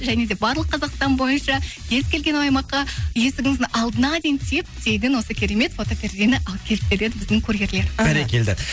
және де барлық қазақстан бойынша кез келген аймаққа есігіңіздің алдына дейін теп тегін осы керемет фотопердені әкеліп береді біздің курьерлер іхі бәрекелді